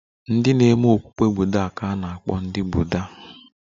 Ndị na-eme okpukpe Buddha ga-akpọ ndị Buddha